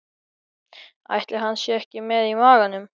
Ætli hann sé ekki með í maganum?